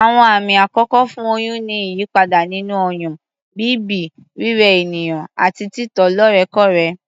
Àwọn àmì àkọ́kọ́ fún oyún ni ìyípadà nínú ọyàn, bíbì, rírẹ ènìyàn àti títọ̀ lóòrèkóòrè